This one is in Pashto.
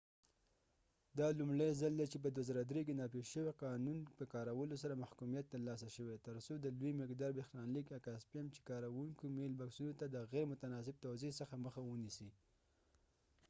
دا لومړی ځل دی چې په 2003 کې نافذ شوي قانون په کارولو سره محکومیت ترلاسه شوی ترڅو د لوی مقدار بریښنالیک اکا سپیم چې کاروونکو میل باکسونو ته د غیر متناسب توزیع څخه مخه ونیسي